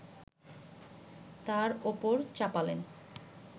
তার ওপর চাপালেন